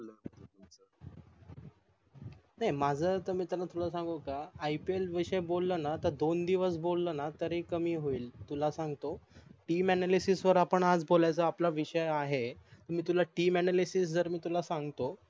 नाही माझ अस मित्रा तुला सांगू का IPI विषयी बोल न दोन दिवस बोल ना तरी कमी होईल तुला सांगतो TEAMANALYSIS वर आपण आज बोलायच आपला विषय आहे मी तुला TEAMANALYSIS जर मी तुला सांगतो